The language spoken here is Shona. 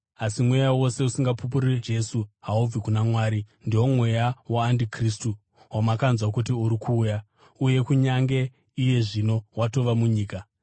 asi mweya wose usingapupuri Jesu haubvi kuna Mwari. Ndiwo mweya waandikristu, wamakanzwa kuti uri kuuya uye kunyange iye zvino watova munyika.